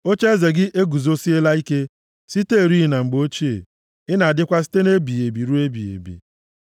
Ocheeze gị eguzosiela ike siterị na mgbe ochie; ị na-adịkwa site nʼebighị ebi ruo ebighị.